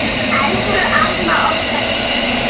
Elsku amma okkar, Stína.